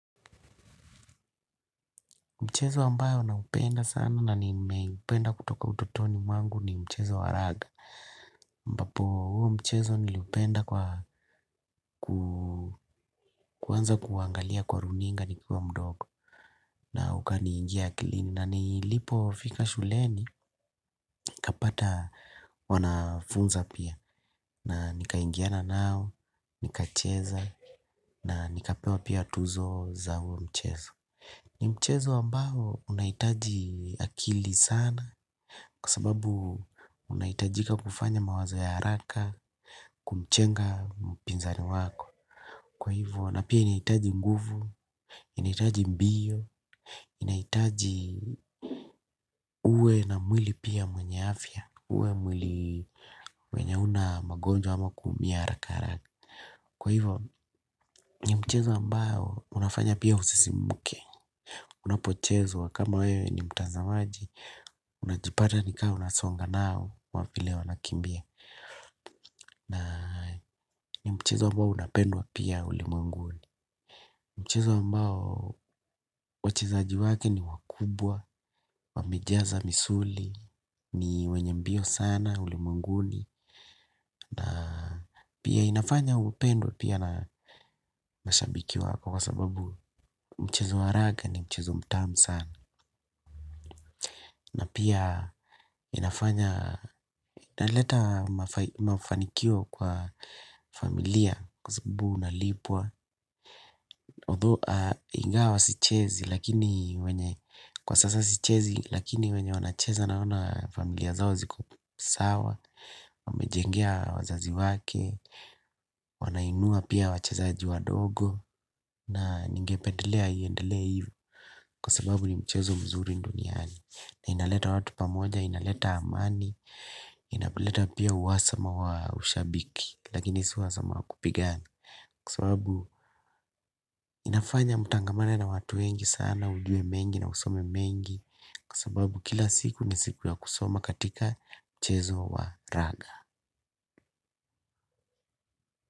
Mchezo ambayo naupenda sana na nimeupenda kutoka ututoni mwangu ni mchezo wa raga. Ambapo huu mchezo niliupenda kwa kuwanza kuangalia kwa runinga nikiwa mdogo na ukani ingia akilini na nilipo fika shuleni nikapata wanafunza pia na nika ingiana nao, nika cheza na nikapewa pia tuzo za huo mchezo. Ni mchezo ambao unahitaji akili sana kwa sababu unahitajika kufanya mawazo ya haraka kumchenga mpinzani wako. Kwa hivyo na pia inahitaji nguvu, inahitaji mbio, inahitaji uwe na mwili pia mwenye afya, uwe mwili wenye huna magonjwa ama kuumia haraka haraka. Kwa hivo ni mchezo ambao unafanya pia usisimuke. Unapochezwa kama wewe ni mtazamaji. Unajipata ni kaa unasonga nao kwa vile wanakimbia. Na ni mchezo ambao unapendwa pia ulimwenguni. Mchezo ambao wachezaji wake ni wakubwa. Wamejaza misuli. Ni wenye mbio sana ulimwenguni. Na pia inafanya upendwa pia na mashabiki wako. Kwa sababu mchezo wa raga ni mchezo mtamu sana. Na pia inafanya inaleta mafanikio kwa familia. Kwa sababu unalipwa although, ingawa sichezi. Lakini wenye kwa sasa sichezi. Lakini wenye wanacheza naona familia zao ziko sawa. Wamejengea wazazi wake wanainua pia wachezaji wa dogo. Na ningependelea iendelee hivo. Kwa sababu ni mchezo mzuri duniani na inaleta watu pamoja inaleta amani inaleta pia uhasama wa ushabiki lakini si uhasama wa kupigana kwa sababu inafanya mutangamane na watu wengi sana ujue mengi na usome mengi kwa sababu kila siku ni siku ya kusoma katika mchezo wa raga.